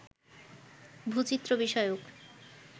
ভূচিত্র বিষয়ক